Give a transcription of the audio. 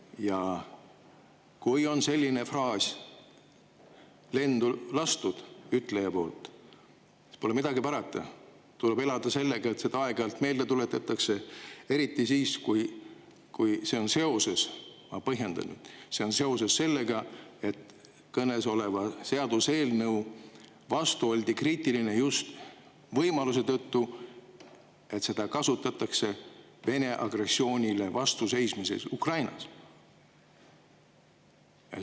Ja kui on selline fraas lendu lastud, siis pole midagi parata, selle ütlejal tuleb elada sellega, et seda aeg-ajalt meelde tuletatakse, eriti siis, kui – ma põhjendan nüüd – see on seoses sellega, et kõnesoleva seaduseelnõu vastu oldi kriitiline just võimaluse tõttu, et seda kasutatakse Vene agressioonile vastuseismiseks Ukrainas.